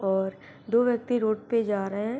और दो व्यक्ति रोड पे जा रहे हैं।